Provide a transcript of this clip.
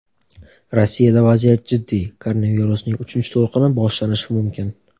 Rossiyada vaziyat jiddiy: koronavirusning uchinchi to‘lqini boshlanishi mumkin.